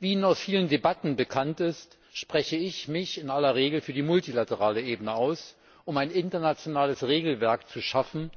Wie Ihnen aus vielen Debatten bekannt ist, spreche ich mich in aller Regel für die multilaterale Ebene aus, um ein internationales Regelwerk zu schaffen,